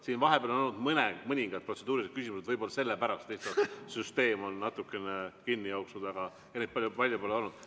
Siin vahepeal on olnud mõningad protseduurilised küsimused, võib-olla sellepärast lihtsalt süsteem on natuke kinni jooksnud, aga neid palju pole olnud.